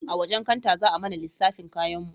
A wajen kanta za a mana lissafin kayanmu